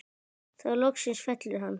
Þá loksins fellur hann.